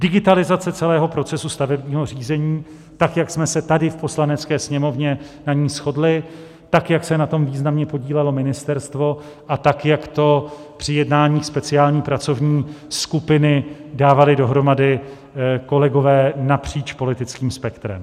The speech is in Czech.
Digitalizace celého procesu stavebního řízení, tak jak jsme se tady v Poslanecké sněmovně na ní shodli, tak jak se na tom významně podílelo ministerstvo a tak jak to při jednáních speciální pracovní skupiny dávali dohromady kolegové napříč politickým spektrem.